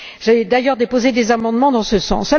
J'ai d'ailleurs déposé des amendements dans ce sens.